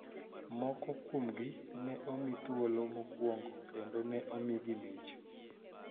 Moko kuomgi ne omi thuolo mokwongo kendo ne omigi mich